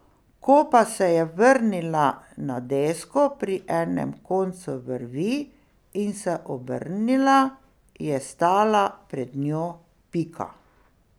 Ko pa se je vrnila na desko pri enem koncu vrvi in se obrnila, je stala pred njo Pika.